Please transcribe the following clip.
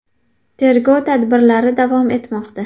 Tergov tadbirlari davom etmoqda.